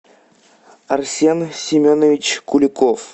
арсен семенович куликов